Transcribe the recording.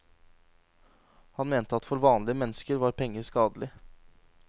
Han mente at for vanlige mennesker var penger skadelig.